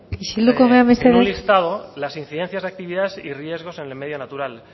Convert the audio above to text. isilduko gara mesedez en un listado la incidencias de actividades y riesgos en el medio natural